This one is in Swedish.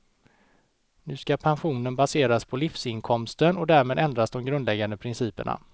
Nu ska pensionen baseras på livsinkomsten och därmed ändras de grundläggande principerna.